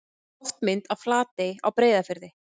Loftmynd af Flatey á Breiðafirði.